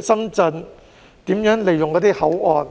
深圳是如何利用口岸的呢？